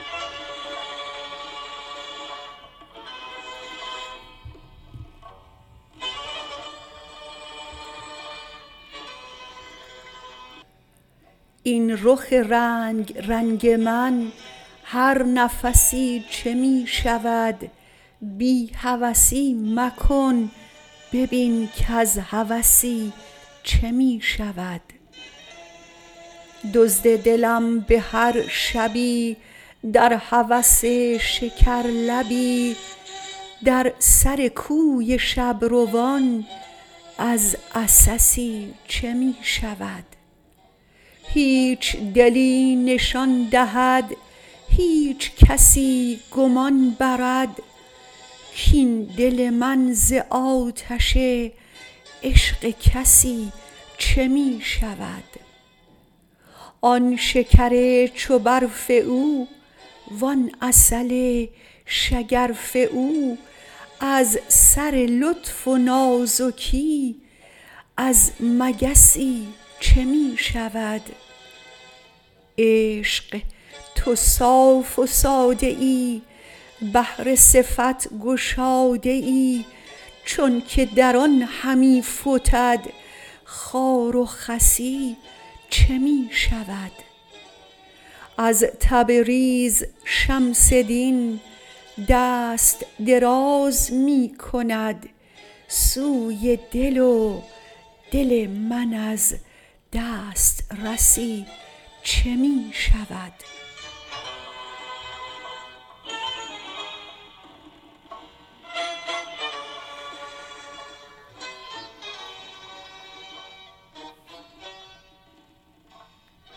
این رخ رنگ رنگ من هر نفسی چه می شود بی هوسی مکن ببین کز هوسی چه می شود دزد دلم به هر شبی در هوس شکرلبی در سر کوی شب روان از عسسی چه می شود هیچ دلی نشان دهد هیچ کسی گمان برد کاین دل من ز آتش عشق کسی چه می شود آن شکر چو برف او وان عسل شگرف او از سر لطف و نازکی از مگسی چه می شود عشق تو صاف و ساده ای بحر صفت گشاده ای چونک در آن همی فتد خار و خسی چه می شود از تبریز شمس دین دست دراز می کند سوی دل و دل من از دسترسی چه می شود